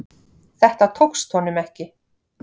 Þetta tókst honum ekki.